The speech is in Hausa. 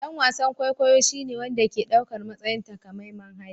Dan wasan kwaikwayo shine wanda ke ɗaukar matsayin takamaiman hali